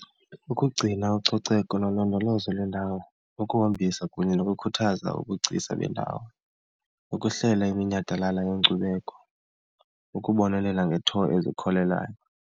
Ukugcina ucoceko nolondolozo lwendawo, ukuhambisa kunye nokukhuthaza ubugcisa bendawo, ukuhlela iminyhadala yenkcubeko, ukubonelela ngee-tour ezikholelayo.